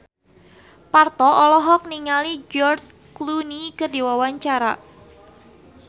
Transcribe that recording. Parto olohok ningali George Clooney keur diwawancara